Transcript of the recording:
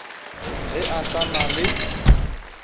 ge a sa na le